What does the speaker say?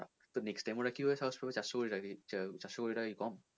তো next time ওরা কীভাবে সাহস পাবে চারশো কোটি টাকা চারশো কোটি টাকা কি কম?